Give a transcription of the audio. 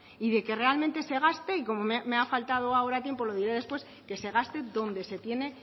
y de que realmente se gaste y como me ha faltado ahora tiempo lo diré después que se gaste donde se tiene